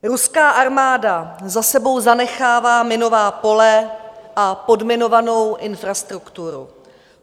Ruská armáda za sebou zanechává minová pole a podminovanou infrastrukturu.